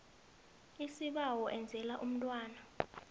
isibawo enzela umntwana